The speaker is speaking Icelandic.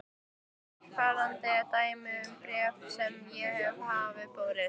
Eftirfarandi er dæmi um bréf sem mér hafa borist